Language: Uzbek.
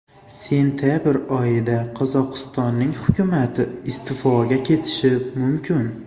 Sentabr oyida Qozog‘iston hukumati iste’foga ketishi mumkin.